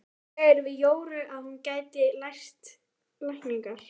Biskupinn segir við Jóru að hún geti lært lækningar.